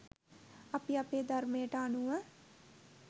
අපි අපේ ධර්මයට අනුව